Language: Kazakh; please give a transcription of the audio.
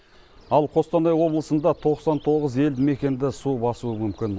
ал қостанай облысында тоқсан тоғыз елді мекенді су басуы мүмкін